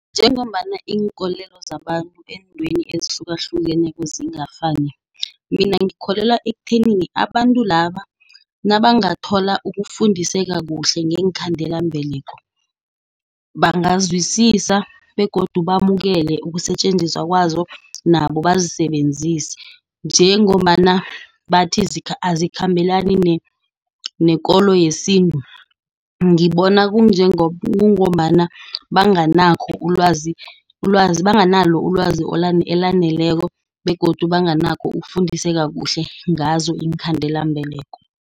Njengombana iinkolelo zabantu eentweni ezihlukahlukeneko zingafuni, mina ngikholelwa ekuthenini abantu laba nabangathola ukufundiseka kuhle ngeenkhandelambeleko bazwisisa begodu bamukele ukusetjenziswa kwazo, nabo bazisebenzise, njengombana bathi azikhambela nekolo yesintu. Ngibona kungombana banganalo ilwazi elaneleko, begodu banganakho ukufundiseka kuhle ngazo iinkhandelambeleko.